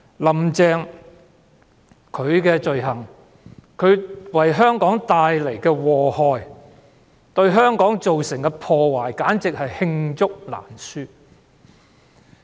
"林鄭"的罪行、為香港帶來的禍害、對香港造成的破壞簡直是罄竹難書。